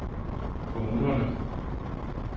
kommunerne